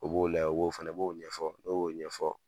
U b'o lajɛ o b'o fana, b'o ɲɛfɔ , n'o y'o ɲɛfɔ,